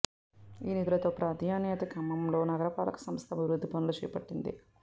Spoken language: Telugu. ఈ నిధులతో ప్రాధాన్యతా క్రమంలో నగరపాలక సంస్థ అభివృద్ధి పనులు చేపట్టింది